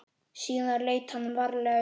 Síðan leit hann varlega upp.